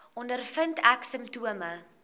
ondervind ek simptome